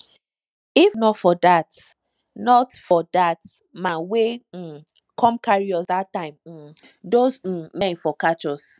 if not for dat not for dat man wey um come carry us dat time um those um men for catch us